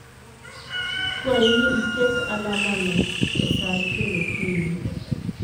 Kwayi ni iket alamano e sa achiel okinyi.